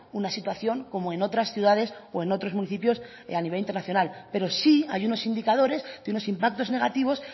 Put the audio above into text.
una situación como en otras ciudades o en otros municipios a nivel internacional pero sí hay unos indicadores de unos impactos negativos